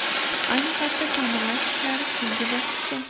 Ayni paytda ta’mirlash ishlari so‘nggi bosqichda.